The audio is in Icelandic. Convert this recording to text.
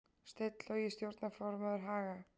Steinn Logi stjórnarformaður Haga